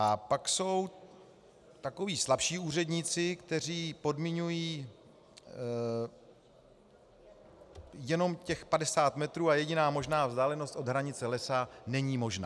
A pak jsou takoví slabší úředníci, kteří podmiňují jenom těch 50 metrů, a jediná možná vzdálenost od hranice lesa není možná.